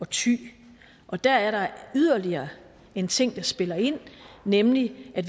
thy og der er der yderligere en ting der spiller ind nemlig at